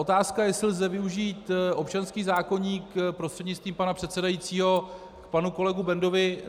Otázka, jestli lze využít občanský zákoník - prostřednictvím pana předsedajícího k panu kolegovi Bendovi.